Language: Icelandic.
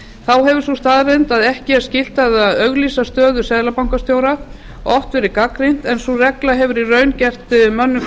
þá hefur sú staðreynd að ekki er skylt að auglýsa stöðu seðlabankastjóra hún hefur oft verið gagnrýnd en sú regla hefur í raun gert mönnum